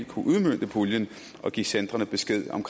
kunne udmønte puljen og give centrene besked om